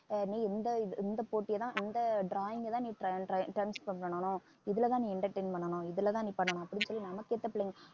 ஆஹ் நீ இந்த இது இந்த போட்டியைத்தான் இந்த drawing ய தான் நீ try try அஹ் time spend பண்ணணும் இதுலதான் நீ entertain பண்ணணும் இதுலதான் நீ பண்ணணும் அப்படின்னு சொல்லி நம்மக்கேத்த பிள்ளைங்க